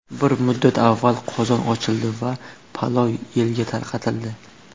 Bir muddat avval qozon ochildi va palov elga tarqatildi.